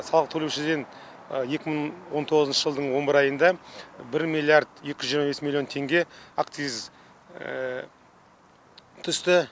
салық төлеушіден екі мың он тоғызыншы жылдың он бір айында бір миллиард екі жүз жиырма бес миллион теңге акциз түсті